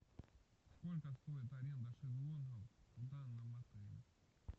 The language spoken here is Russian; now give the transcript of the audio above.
сколько стоит аренда шезлонгов в данном отеле